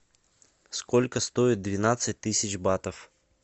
сколько стоит двенадцать тысяч батов